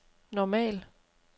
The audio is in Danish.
normal